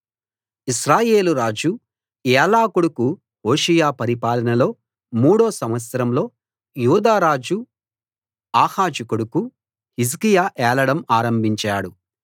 ఇశ్రాయేలు రాజు ఏలా కొడుకు హోషేయ పరిపాలనలో మూడో సంవత్సరంలో యూదా రాజు ఆహాజు కొడుకు హిజ్కియా ఏలడం ఆరంభించాడు